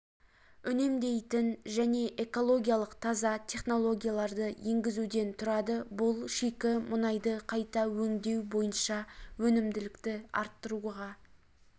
үнемдейтін және экологиялық таза технологияларды енгізуден тұрады бұл шикі мұнайды қайта өңдеу бойынша өнімділікті арттыруға